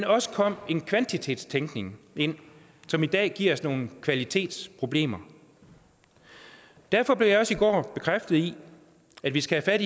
også kom en kvantitetstænkning ind som i dag giver os nogle kvalitetsproblemer derfor blev jeg også i går bekræftet i at vi skal have